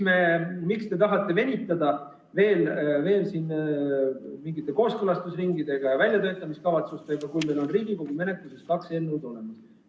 Miks te tahate venitada veel mingite kooskõlastusringide ja väljatöötamiskavatsustega, kui meil on Riigikogu menetluses kaks eelnõu olemas?